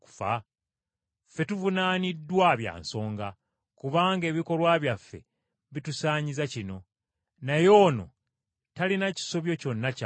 Ffe tuvunaaniddwa bya nsonga, kubanga ebikolwa byaffe bitusaanyiza kino. Naye ono talina kisobyo kyonna ky’akoze.”